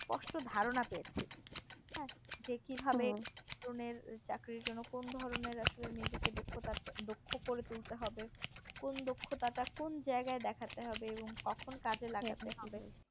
স্পষ্ট ধারণা পেয়েছি যে কিভাবে কি ধরনের চাকরির জন্য কোন ধরনের আসলে নিজের নিজেকে দক্ষতা দক্ষ করে তুলতে হবে কোন দক্ষতাটা কোন জায়গায় দেখাতে হবে কখন কাজে লাগাতে হবে